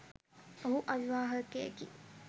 ඔහු අවිවාහකයෙකි.